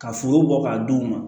Ka foro bɔ k'a d'u ma